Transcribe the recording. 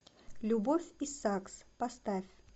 любовь и сакс поставь